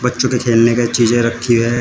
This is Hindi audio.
बच्चों के खेलने की चीज रखी हैं।